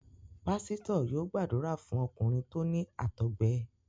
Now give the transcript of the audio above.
Pásítọ̀ yóò gbàdúrà fún ọkùnrin tó ní àtọgbẹ.